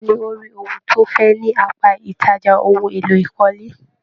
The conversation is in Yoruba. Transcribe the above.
Bẹ̀ẹ́ni,o rí ohun tí o fẹ ní apá ìtajà ohùn èlò ìkọ́lé.